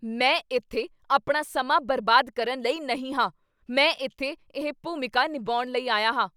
ਮੈਂ ਇੱਥੇ ਆਪਣਾ ਸਮਾਂ ਬਰਬਾਦ ਕਰਨ ਲਈ ਨਹੀਂ ਹਾਂ। ਮੈਂ ਇੱਥੇ ਇਹ ਭੂਮਿਕਾ ਨਿਭਾਉਣ ਲਈ ਆਇਆ ਹਾਂ।